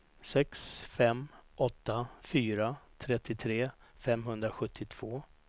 sex fem åtta fyra trettiotre femhundrasjuttiotvå